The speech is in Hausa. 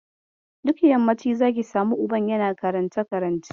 Duk yammaci zaki samu uban yana karance-karance.